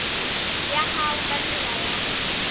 ya hao ka tsela ya